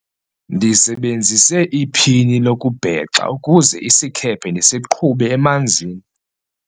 ndisebenzise iphini lokubhexa ukuze isikhephe ndisiqhube emanzini